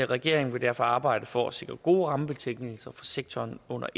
regeringen vil derfor arbejde for at sikre gode rammebetingelser for sektoren under